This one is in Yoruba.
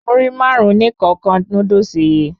Múrí Márùn-ún ní kọ̀ọ̀kan Núdúsì yìí